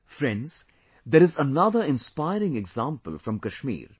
Friends, there is another inspiring example from Kashmir